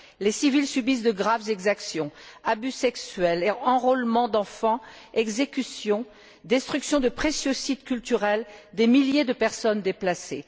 Les civils subissent de graves exactions abus sexuels, enrôlements d'enfants, exécutions, destruction de précieux sites culturels, des milliers de personnes déplacées.